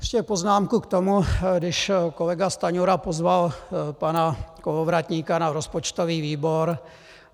Ještě poznámku k tomu, když kolega Stanjura pozval pana Kolovratníka na rozpočtový výbor.